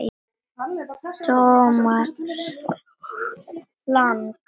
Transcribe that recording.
Thomas Lang